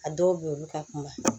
A dɔw bɛ yen olu ka kuma